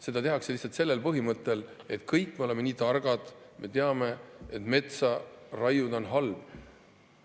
Seda tehakse lihtsalt sellel põhimõttel, et kõik me oleme nii targad, me teame, et metsa raiuda on halb.